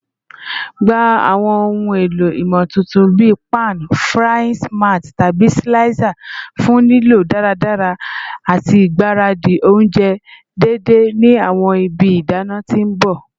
Gba awọn ohun elo imotuntun bii pan frying smart tabi slicer fun lilo daradara ati igbaradi ounjẹ deede ni awọn ibi idana ti n bọ